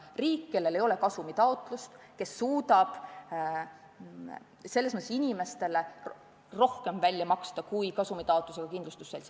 Riigil ei ole selles funktsioonis kasumitaotlust ja ta saab selles mõttes inimestele rohkem välja maksta kui kasumit taotlev kindlustusselts.